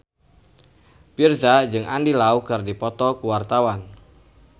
Virzha jeung Andy Lau keur dipoto ku wartawan